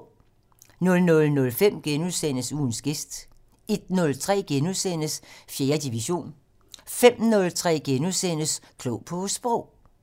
00:05: Ugens gæst * 01:03: 4. division * 05:03: Klog på Sprog *